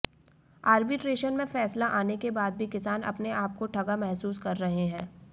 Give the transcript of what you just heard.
arbitration में फैसला आने के बाद भी किसान अपने आपको ठगा महसूस कर रहा है